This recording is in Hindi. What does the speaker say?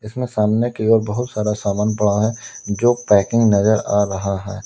इसमें सामने की ओर बहुत सारा सामान पड़ा है जो पैकिंग नजर आ रहा है।